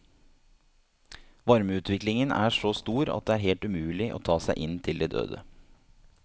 Varmeutviklingen er så stor at det er helt umulig å ta seg inn til de døde.